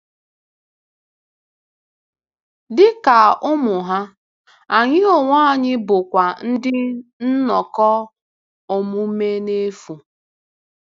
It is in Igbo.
Dị ka ụmụ ha, anyị onwe anyị bụkwa ndị nnọkọ omume n'efu.